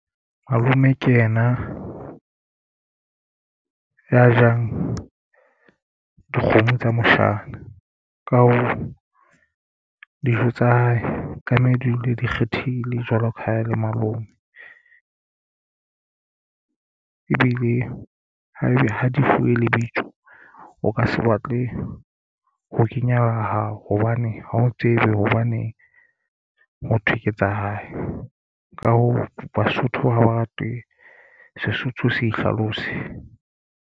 Malome ke ena ya jang dikgomo tsa moshana ka hoo dijo tsa hae ka mme dule di kgethile jwalo ka ha e le malome. Ebile haebe ha di fuwe lebitso o ka se batle ho kenya la hao hobane ha o tsebe hobane motho ke tsa hae. Ka hoo Basotho ha ba rate Sesotho se hlalose.